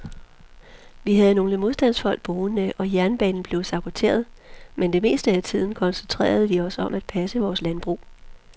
Vi havde nogle modstandsfolk boende og jernbanen blev saboteret, men det meste af tiden koncentrerede vi os om at passe vores landbrug.